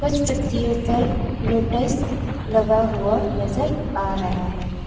इस पत्तियों पर लोटस लगा हुआ नजर आ रहा है।